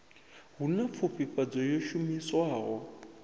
hu na pfufhifhadzo yo shumiswaho